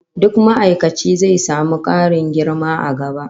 Duk ma'aikaci zai samu karin girma a gaba